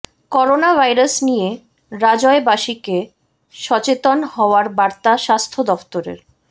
corona virus নিয়ে রাজ্য়বাসীকে সচেতন হওয়ার বার্তা স্বাস্থ দফতরের